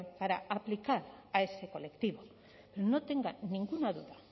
para aplicar a ese colectivo no tenga ninguna duda